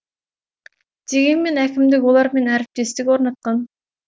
дегенмен әкімдік олармен әріптестік орнатқан